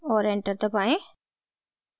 और enter दबाएं